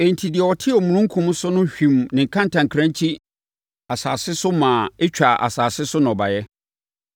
Enti, deɛ ɔte omununkum so no hwim ne kantankrankyi asase so maa ɛtwaa asase so nnɔbaeɛ.